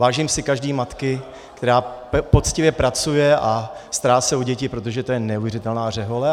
Vážím si každé matky, která poctivě pracuje a stará se o děti, protože to je neuvěřitelná řehole.